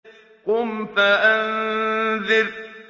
قُمْ فَأَنذِرْ